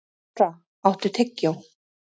Gunndóra, áttu tyggjó?